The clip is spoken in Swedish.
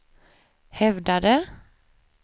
hävdade